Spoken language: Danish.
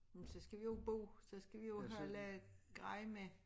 Men så skal vi jo bo så skal vi jo have lavet grej med